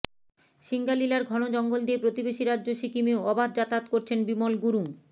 সিঙ্গালিলার ঘন জঙ্গল দিয়ে প্রতিবেশী রাজ্য সিকিমেও অবাধ যাতায়াত করছেন বিমল গুরুং